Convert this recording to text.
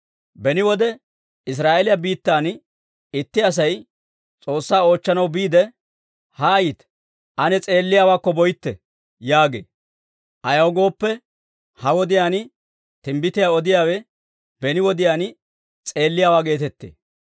(Beni wode Israa'eeliyaa biittan itti Asay S'oossaa oochchanaw biidde, «Haayite; ane s'eelliyaawaakko boytte» yaagee. Ayaw gooppe, ha wodiyaan timbbitiyaa odiyaawe beni wodiyaan s'eelliyaawaa geetettee.)